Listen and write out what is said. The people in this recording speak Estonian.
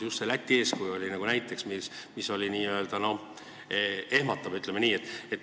Just see Läti näide oli nagu ehmatav, ütleme nii.